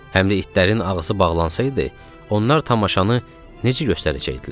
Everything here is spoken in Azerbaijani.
Həm də itlərin ağzı bağlansaydı, onlar tamaşanı necə göstərəcəkdilər?